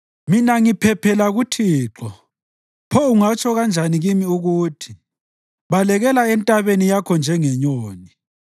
Mina ngiphephela kuThixo. Pho ungatsho kanjani kimi ukuthi: “Balekela entabeni yakho njengenyoni.